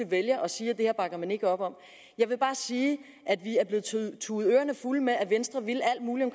vælger at sige at det her bakker man ikke op om jeg vil bare sige at vi er blevet tudet tudet ørerne fulde af at venstre ville alt muligt